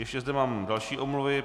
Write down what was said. Ještě zde mám další omluvy.